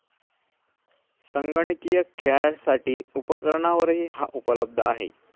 संगणकीय खेळांसाठीच्या उपकरणांवरही हा उपलब्ध आहे.